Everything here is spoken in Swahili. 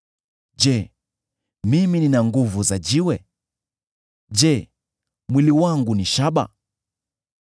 Je, mimi nina nguvu za jiwe? Je, mwili wangu ni shaba?